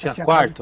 Tinha quarto?